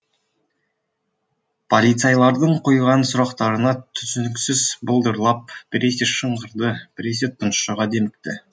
полицайлардың қойған сұрақтарына түсініксіз былдырлап біресе шыңғырды біресе тұншыға демікті